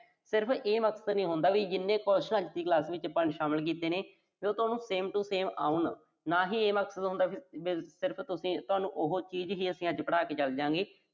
ਸਿਰਫ਼ ਇਹ ਮਤਲਬ ਨੀਂ ਹੂੰਦਾ ਵੀ ਜਿੰਨੇ question ਅਸੀਂ ਚ ਸ਼ਾਮਲ ਕੀਤੇ ਨੇ, ਉਹ ਤੁਹਾਨੂੰ same to same ਆਉਣ। ਨਾ ਹੀ ਇਹ ਮਕਸਦ ਹੁੰਦਾ ਵੀ ਅਸੀਂ ਤੁਹਾਨੂੰ ਸਿਰਫ਼ ਉਹੋ ਚੀਜ਼ ਹੀ ਅੱਜ ਪੜ੍ਹਾ ਕੇ ਚਲ ਜਾਂ ਗੇ।